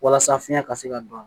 Walasa fiɲɛ ka se ka don